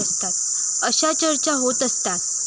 अशा चर्चा होत असतात.